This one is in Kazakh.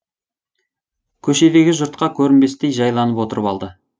көшедегі жұртқа көрінбестей жайланып отырып алды